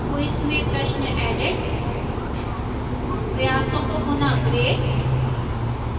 quiz में प्रश्न edit प्रयासों को पुनः ग्रेड